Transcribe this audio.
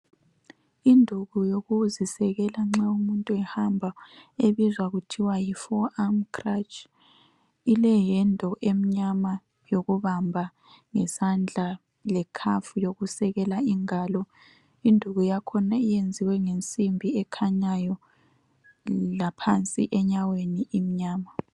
Induku yokuzisekela nxa umuntu ehamba ebizwa kuthwa yi 4 arm crutch, ile handle emnyama yokubamba ngesandla le cuff yokusekela ingalo. Induku yakhona iyenziwe ngensimbi ekhanyayo laphansi enyaweni imnyama.